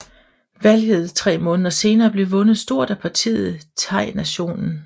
Valget tre måneder senere blev vundet stort af partiet Thainationen